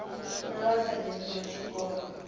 na vha sa dzheniho tshikolo